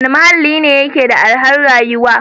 Wane muhalli ne yake da arhar rayuwa?